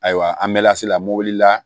Ayiwa an mɛ lasi la mobili la